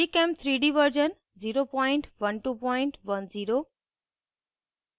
gchem3d version 01210